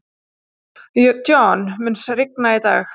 John, mun rigna í dag?